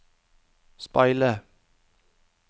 speile